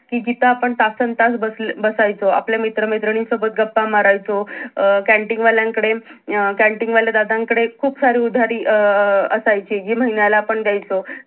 कि जिथं आपण तसंन तास बसल बसायचो आपल्या मित्र मैत्रिणीसोबत गप्पा मारायचो अं canteen वाल्यान कडे canteen वाल्या दादांन कडे खूप सारी उधारी अं असायची जी महिन्याला आपण द्यायचो